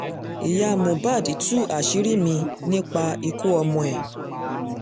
ìyá mohbad tú àṣírí mi-ín nípa ikú ọmọ ẹ̀